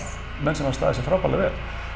menn sem hafa staðið sig frábærlega vel